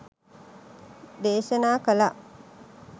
දේශනා කළා.